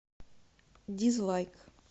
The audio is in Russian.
дизлайк